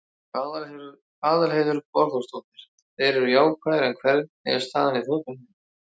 Aðalheiður Borgþórsdóttir: Þeir eru jákvæðir, en hvernig er staðan í þjóðfélaginu?